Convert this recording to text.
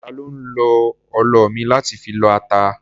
Ta ló ń lo ọlọ mi láti fi lọ ata?